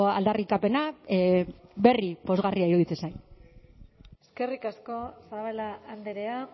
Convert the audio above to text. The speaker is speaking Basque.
aldarrikapena berri pozgarria iruditzen zait eskerrik asko zabala andrea